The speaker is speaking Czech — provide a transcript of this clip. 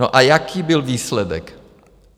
No, a jaký byl výsledek?